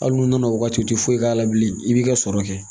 Hali n'u nana o waati u ti foyi k'a la bilen i b'i ka sɔrɔ kɛ